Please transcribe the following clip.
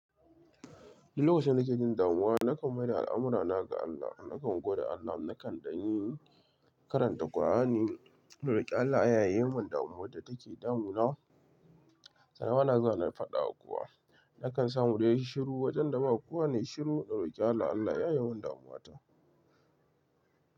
Duk lokacin da nake jin damuwa, nakan mai da al'amurana ga Allah. Nakan gode Allah, nakan danyi karanta Kur'ani. Don da rike Allah ya yi mun damuwar da take damuna Sannan bana zuwa fadawa kuwa. Nakan samu wanda ya yi shiru wajen da ba kowane shiru da rike Allah, Allah ya yi mun damuwata.